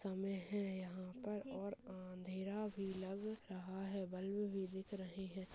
हमे यहाँ पर और अंधेरा भी लग रहा है बल्ब भी दिख रहे है।